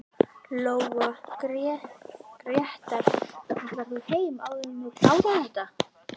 Lóa: Grétar ætlar þú heim áður en þú klárar þetta?